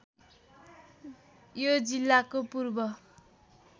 यो जिल्लाको पूर्व